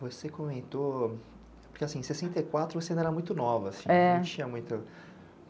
Você comentou, porque assim, em sessenta e quatro você ainda era muito nova assim, não tinha muito. É